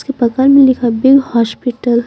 उस के बगल में लिखा बिग हॉस्पिटल --